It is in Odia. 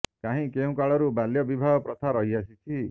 କାହିଁ କେଉଁ କାଳରୁ ବାଲ୍ୟ ବିବାହ ପ୍ରଥା ରହି ଆସିଛି